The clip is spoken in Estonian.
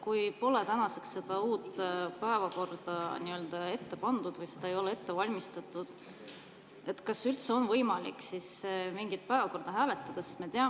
Kui pole tänaseks uut päevakorda ette pandud või seda ei ole ette valmistatud, siis kas üldse on võimalik mingit päevakorda hääletada?